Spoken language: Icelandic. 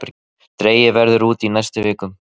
Dregið verður út í næstu vikum